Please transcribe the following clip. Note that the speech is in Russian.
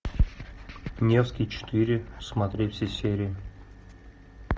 невский четыре смотреть все серии